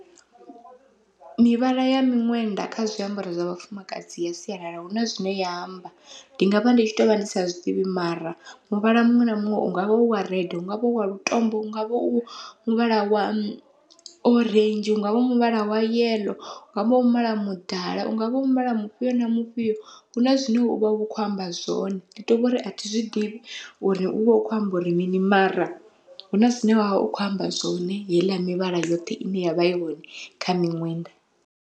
Mivhala ya miṅwenda kha zwiambaro zwa vhafumakadzi ya sialala huna zwine ya amba, ndi ngavha ndi tshi tovha ndi sa zwiḓivhi mara muvhala muṅwe na muṅwe ungavha uwa red, ungavha wa lutombo, ungavha u muvhala wa orenzhi ungavha u muvhala wa yeḽo, ungavha u muvhala mudala, ungavha u mivhala mufhio na mufhio huna zwine uvha u kho amba zwone ndi to vhori athi zwiḓivhi uri uvha u kho amba uri mini, mara huna zwine wavha u kho amba zwone heiḽa mivhala yoṱhe ine yavha i hone kha miṅwenda.